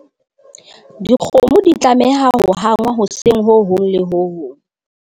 dikgomo di tlameha ho hangwa hoseng ho hong le ho hong